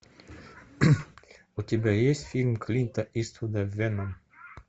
у тебя есть фильм клинта иствуда веном